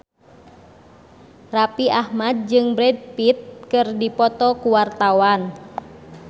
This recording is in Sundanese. Raffi Ahmad jeung Brad Pitt keur dipoto ku wartawan